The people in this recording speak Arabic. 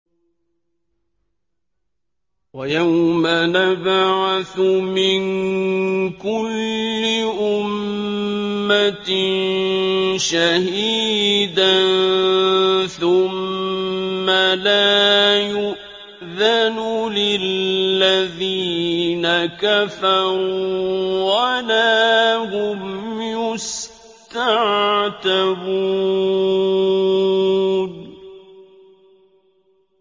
وَيَوْمَ نَبْعَثُ مِن كُلِّ أُمَّةٍ شَهِيدًا ثُمَّ لَا يُؤْذَنُ لِلَّذِينَ كَفَرُوا وَلَا هُمْ يُسْتَعْتَبُونَ